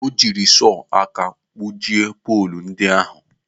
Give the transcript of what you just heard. O jiri sọọ aka gbujie poolu ndị ahụ.